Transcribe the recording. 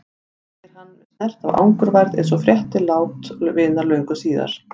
segir hann með snert af angurværð eins og frétti lát vinar löngu síðar.